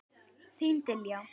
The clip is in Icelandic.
Þín Diljá.